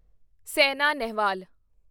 Saina Nehwal